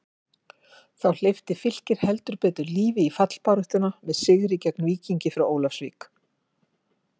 Þá hleypti Fylkir heldur betur lífi í fallbaráttuna með sigri gegn Víkingi frá Ólafsvík.